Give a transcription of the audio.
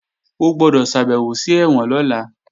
O gbọ́dọ̀ ṣàbèwò sí ẹ̀wọ̀n lọ́la!